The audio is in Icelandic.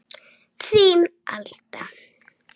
Þín Alda